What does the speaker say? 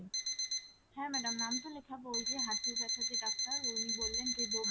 হ্যাঁ madam নাম তো লিখাবো ওই যে হাঁটুর ব্যাথার যে ডাক্তার উনি বললেন যে